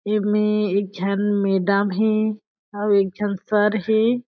एमें में एक झन मेडम हे अउ एक झन सर हे।